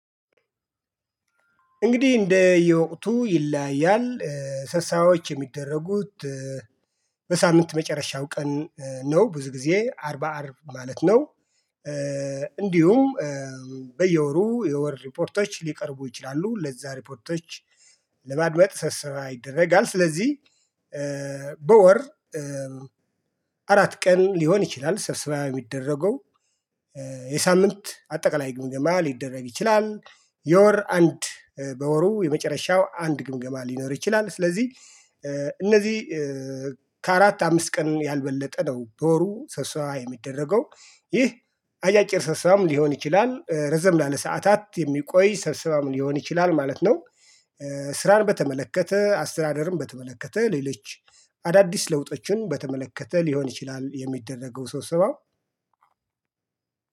እንግዲህ እንደ የውቅቱ ይለያያል ሰብሳዎች የሚደረጉት በሳምንት መጨረሻው ቀን ነው። ብዙ ጊዜ አርብ አርብ ማለት ነው። እንዲሁም በየወሩ የወር ሪፖርቶች ሊቀርቡ ይችላሉ ለዛ ሪፖርቶች ለማድመጥ ሰብሰባ ይደረጋል። ስለዚህ በወር አራት ቀን ሊሆን ይችላል ሰብሰባ የሚደረገው የሳምንት አጠቃላይ ግምገማ ሊደረግ ይችላል። የወር አንድ በወሩ የመጨረሻው አንድ ግምገማ ሊኖር ይችላል። ስለዚህ እነዚህ ከአራት አምስት ቀን ያልበለጠ ነው። በወሩ ሰብሰባ የሚደረገው ይህ አጫጭር ሰብሰባም ሊሆን ይችላል ረዘም ላለ ሰዓታት የሚቆይ ሰብስባም ሊሆን ይችላል ማለት ነው። ስራን በተመለከተ አስተዳደርም በተመለከተ ሌሎች አዳዲስ ለውጦችን በተመለከተ ሊሆን ይችላል የሚደረገው ሰብሰባው